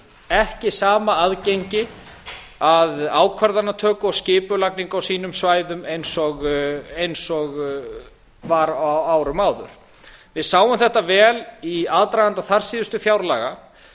ekki sama aðgengi að ákvarðanatöku og skipulagningu á sínum svæðum eins og var á árum áður við sáum þetta vel í aðdraganda þarsíðustu fjárlaga